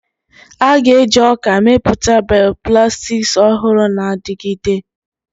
A ga-eji ọka mepụta bioplastics ọhụrụ na-adigide.